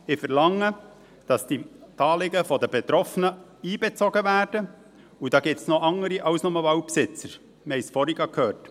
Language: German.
Ich verlange, dass die Anliegen der Betroffenen einbezogen werden – und da gibt es noch andere als nur die Waldbesitzer, wir haben es gerade vorhin gehört.